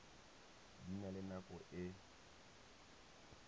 di na le nako e